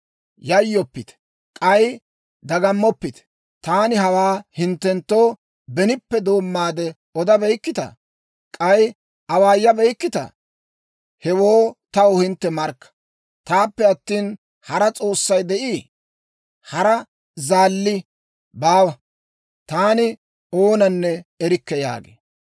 Yayyoppite; k'ay dagammoppite. Taani hawaa hinttenttoo benippe doommaade odabeykkitaa? K'ay awaayabeykkitaa? Hewoo taw hintte markka. Taappe attina, hara S'oossay de'ii? Hara Zaalli baawa; taani oonanne erikke» yaagee.